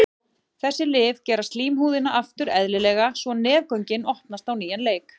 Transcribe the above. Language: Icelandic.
Þessi lyf gera slímhúðina aftur eðlilega svo nefgöngin opnast á nýjan leik.